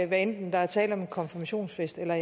hvad enten der er tale om en konfirmationsfest eller